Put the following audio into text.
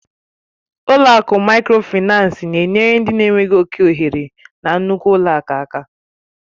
Ụlọ akụ Mikrofaịnsi na-enyere ndị na enweghị oke ohere na nnukwu ụlọ akụ aka